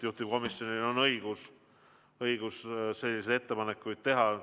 Juhtivkomisjonil on õigus selliseid ettepanekuid teha.